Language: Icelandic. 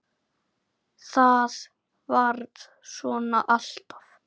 ÞAÐ VARÐ SVONA ALLTAF